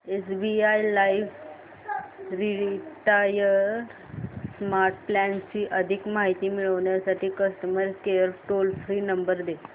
SBI life retire smart plan ची अधिक माहिती मिळविण्यासाठी customer care toll free number दे